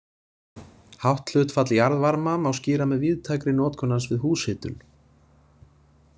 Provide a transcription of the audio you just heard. Hátt hlutfall jarðvarma má skýra með víðtækri notkun hans við húshitun.